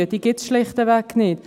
Diese gibt es schlichtweg nicht.